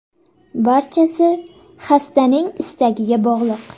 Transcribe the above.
Barchasi xastaning istagiga bog‘liq.